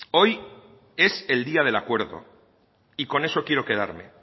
hoy es el día del acuerdo y con eso quiero quedarme